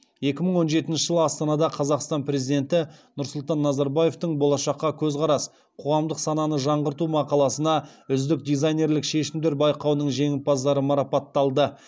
екі мың он жетінші жылы астанада қазақстан президенті нұрсұлтан назарбаевтың болашаққа көзқарас қоғамдық сананы жаңғырту мақаласына үздік дизайнерлік шешімдер байқауының жеңімпаздары марапатталды